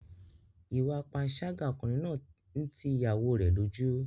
Ìwà panṣágà ọkùnrin náà ń ti ìyàwóo rẹ̀ lójú.